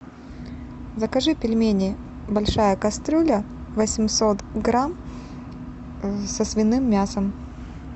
закажи пельмени большая кастрюля восемьсот грамм со свиным мясом